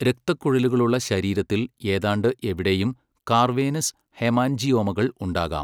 രക്തക്കുഴലുകളുള്ള ശരീരത്തിൽ ഏതാണ്ട് എവിടെയും കാവേർനസ് ഹെമാൻജിയോമകൾ ഉണ്ടാകാം.